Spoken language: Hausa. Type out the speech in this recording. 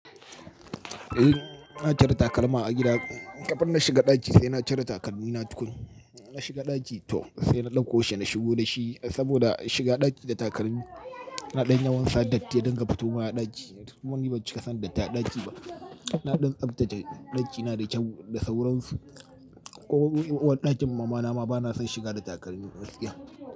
Eh na cire takalma a gida. Kafin na shiga ɗaki sai na cire takalmi na tukun. Na shiga ɗaki to sai na dauko shi na shigo da shi saboda shiga ɗaki da takalmi na ɗan yawan sadatti ya din gafutoma a ɗaki. Kuma ni bam cika son datti a ɗaki ba. Na ɗan tsaftace ɗakina da kyau da sauransu. Ko uwar ɗakin mama na ma bana son shiga da takalmi gaskiya.